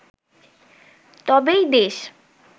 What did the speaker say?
তবেই দেশ